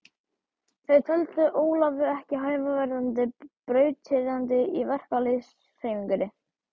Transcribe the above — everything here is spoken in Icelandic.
Það taldi Ólafur ekki hæfa verðandi brautryðjanda í verkalýðshreyfingunni.